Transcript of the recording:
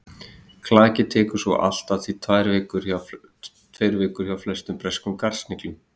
klakið tekur svo allt að tveir vikur hjá flestum breskum garðsniglum